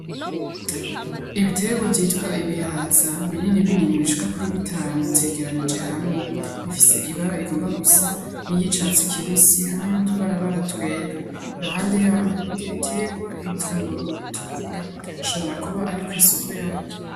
Ibiterwa vyitwa ibihaza binini binini bishika kuri bitanu vyegeranije hamwe bifise ibara igomba gusa n'icatsi kibisi hamwe nutu barabara twera iruhande yaho hari ibindi biterwa ibitunguru bitukura ashobora kuba ari kw'isoko yavyo.